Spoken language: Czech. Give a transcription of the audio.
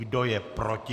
Kdo je proti?